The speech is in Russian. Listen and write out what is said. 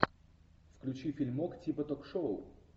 включи фильмок типа ток шоу